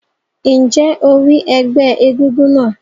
Ǹjẹ́ o rí ẹgbẹ́ egúngún náà?